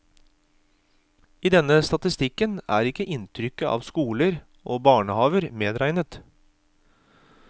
I denne statistikken er ikke innrykket av skoler og barnehaver medregnet.